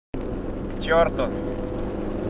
к черту